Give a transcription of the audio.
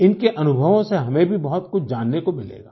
इनके अनुभवों से हमें भी बहुत कुछ जानने को मिलेगा